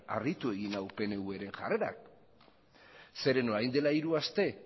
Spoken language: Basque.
harritu egin nau pnvren jarrerak zeren orain dela hiru aste